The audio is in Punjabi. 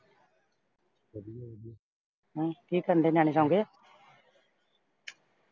ਹੋਰ ਕੀ ਕਰਨ ਡੇ ਨਿਆਣੇ ਸੋਂ ਗਏ।